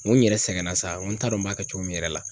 N ko n yɛrɛ sɛgɛn na sa , n ko n t'a dɔn n b'a kɛ cogo min n yɛrɛ la